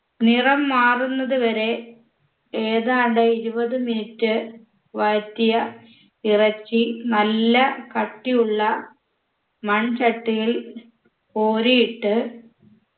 നിറം മാറുന്നതുവരെ ഏതാണ്ട് ഇരുപത് minute വഴറ്റിയ ഇറച്ചി നല്ല കട്ടിയുള്ള മൺചട്ടിയിൽ കോരിയിട്ട്